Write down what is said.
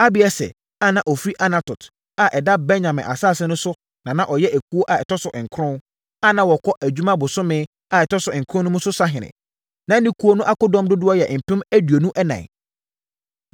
Abieser a na ɔfiri Anatot a ɛda Benyamin asase so no na na ɔyɛ ekuo a ɛtɔ so nkron, a na wɔkɔ adwuma bosome a ɛtɔ so nkron mu no so sahene. Na ne ekuo no akodɔm dodoɔ yɛ mpem aduonu ɛnan (24,000).